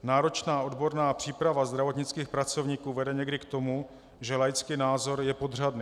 Náročná odborná příprava zdravotnických pracovníků vede někdy k tomu, že laický názor je podřadný.